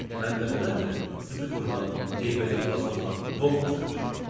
Mən dəfələrlə sizi vurmaq, eybəcər hala salmaq, boğmaq istəmişəm.